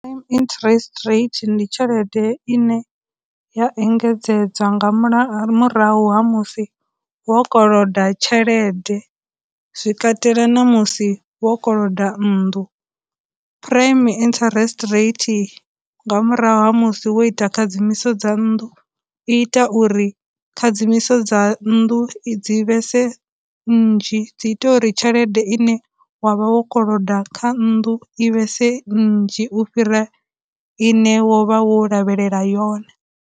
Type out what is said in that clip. Interest rate ndi tshelede ine ya engedzedzwa nga murahu ha musi wo koloda tshelede, zwi katela na musi wo koloda nnḓu, prime interest rate nga murahu ha musi wo ita khadzimiso dza nnḓu, i ita uri khadzimiso dza nnḓu i dzi vhese nnzhi, dzi ita uri tshelede ine wa vha wo koloda kha nnḓu i vhese nnzhi u fhira ine wo vha wo lavhelela yone.